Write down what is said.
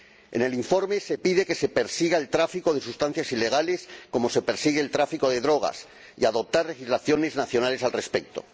En el informe se pide que se persiga el tráfico de sustancias ilegales como se persigue el tráfico de drogas y que se adopten legislaciones nacionales al respecto.